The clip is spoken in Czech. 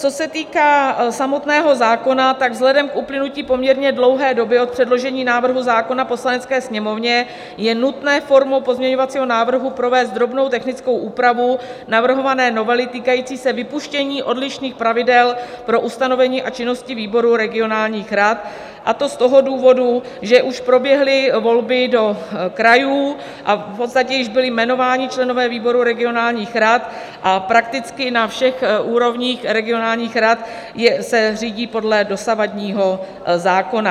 Co se týká samotného zákona, tak vzhledem k uplynutí poměrně dlouhé doby od předložení návrhu zákona Poslanecké sněmovně je nutné formou pozměňovacího návrhu provést drobnou technickou úpravu navrhované novely, týkající se vypuštění odlišných pravidel pro ustanovení a činnosti výboru regionálních rad, a to z toho důvodu, že už proběhly volby do krajů a v podstatě již byli jmenováni členové výborů regionálních rad a prakticky na všech úrovních regionálních rad se řídí podle dosavadního zákona.